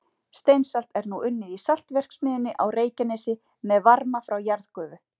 Steinsalt er nú unnið í saltverksmiðjunni á Reykjanesi með varma frá jarðgufu.